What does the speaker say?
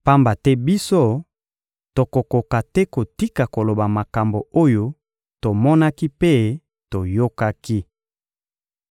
Pamba te biso, tokokoka te kotika koloba makambo oyo tomonaki mpe toyokaki!